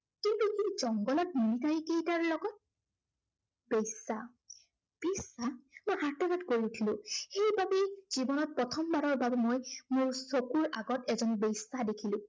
কিন্তু এই জংঘলত military কেইটাৰ লগত। বেশ্য়া, বেশ্য়া মই আৰ্তনাদ কৰি উঠিলো, সেইবাবেই, জীৱনত প্ৰথমবাৰৰ বাবে মই মোৰ চকুৰ আগত এজনী বেশ্য়া দেখিলো।